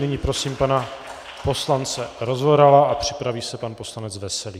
Nyní prosím pana poslance Rozvorala a připraví se pan poslanec Veselý.